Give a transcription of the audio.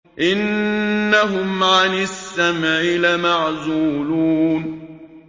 إِنَّهُمْ عَنِ السَّمْعِ لَمَعْزُولُونَ